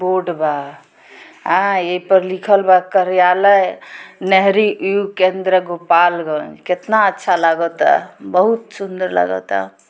board बा आ ए पर लिखल बा कार्यालय केंद्र गोपालगंज | केतना अच्छा लागता बहुत सुन्दर लागता |